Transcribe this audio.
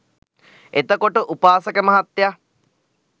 එතකොට උපාසක මහත්තයා